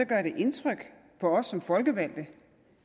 gør indtryk på os som folkevalgte